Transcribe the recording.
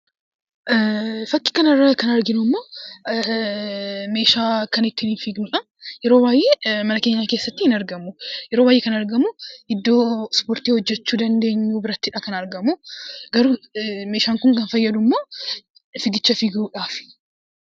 Fakii kana irraa kan arginu meeshaa ittiin fiignudha. Yeroo baay'ee mana keenya keessatti hin argamu. Mana ispoortiitti kan inni argamu. Meeshaan Kun kan inni fayyadu fiigicha fiiguudhaafi.